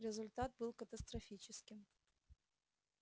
результат был катастрофическим